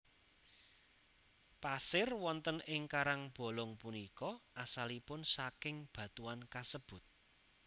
Pasir wonten ing karangbolong punika asalipun saking batuan kasebut